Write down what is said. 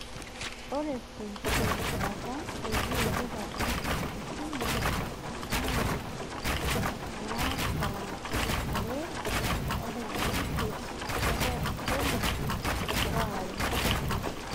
Ore tenkiti rishata peyie idip atoosho esimu aa noo saa20.08 nebau irpolisi waare